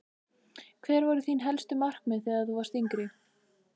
Hver voru þín helstu markmið þegar þú varst yngri?